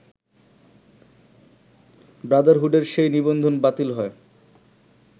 ব্রাদারহুডের সেই নিবন্ধন বাতিল হয়